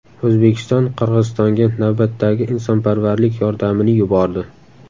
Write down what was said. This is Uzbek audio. O‘zbekiston Qirg‘izistonga navbatdagi insonparvarlik yordamini yubordi.